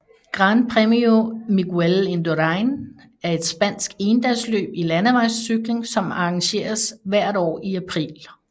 Gran Premio Miguel Indurain er et spansk endagsløb i landevejscykling som arrangeres hvert år i april